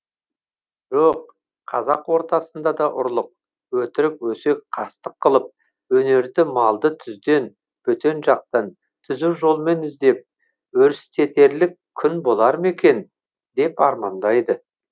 жоқ қазақ ортасында да ұрлық өтірік өсек қастық қылып өнерді малды түзден бөтен жақтан түзу жолмен іздеп өрістетерлік күн болар ма екен деп армандайды